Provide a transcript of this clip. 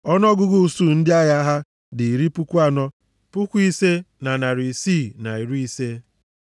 Ọnụọgụgụ usuu ndị agha ha dị iri puku anọ, puku ise na narị isii na iri ise (45,650).